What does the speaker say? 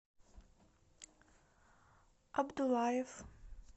абдуллаев